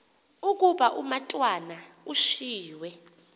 ukuba umatwana ushiywe